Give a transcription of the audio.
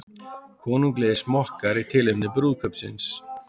Konunglegir smokkar í tilefni brúðkaupsins